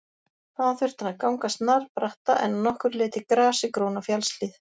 Þaðan þurfti hann að ganga snarbratta en að nokkru leyti grasigróna fjallshlíð.